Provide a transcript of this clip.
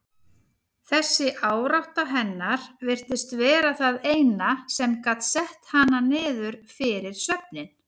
Þessi árátta hennar virtist vera það eina sem gat sett hana niður fyrir svefninn.